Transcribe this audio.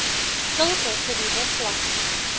sulke geriewe glad